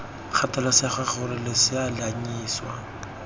kgathalesege gore losea lo anyisiwa